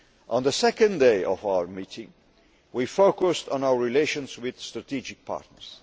On the second day of our meeting, we focused on our relations with strategic partners.